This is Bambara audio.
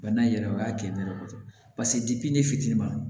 Bana in yɛrɛ o y'a kɛ ne yɛrɛ kosɛbɛ paseke ne fitinin ma